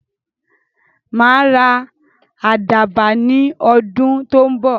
Màá ra àdàbà ní ọdún tó ń bọ̀.